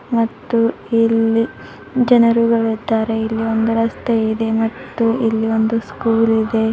ಮತ್ತು ಇಲ್ಲಿ ಜನರುಗಳು ಇದ್ದಾರೆ ಇಲ್ಲಿ ಒಂದು ರಸ್ತೆಯಿದೆ ಮತ್ತು ಇಲ್ಲಿ ಒಂದು ಸ್ಕೂಲ್ ಇದೆ.